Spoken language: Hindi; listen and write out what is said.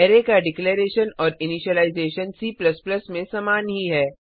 अरै का डिक्लरैशन और इनिशीलाइज़ेशन C में समान ही है